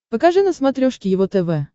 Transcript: покажи на смотрешке его тв